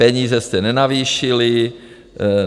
Peníze jste nenavýšili.